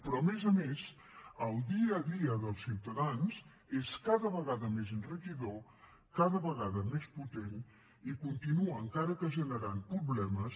però a més a més el dia a dia dels ciutadans és cada vegada més enriquidor cada vegada més potent i continua encara que generant problemes